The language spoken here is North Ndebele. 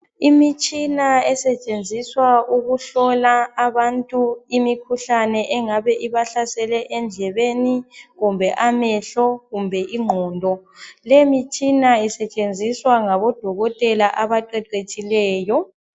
Imitshina esetshenziswa ukuhlola abantu imikhuhlane engabe ibahlasele endlebeni kumbe amehlo kumbe ingqondo , le imitshina isetshenziswa ngodokotela abaqeqetshileyo